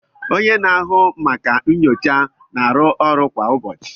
onye na-ahụ maka ụlọ nyocha na-arụ ọrụ kwa ụbọchị